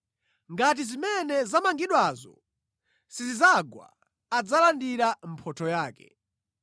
Ngati zimene zamangidwazo sizidzagwa, adzalandira mphotho yake.